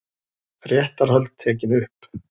Réttarhöld tekin upp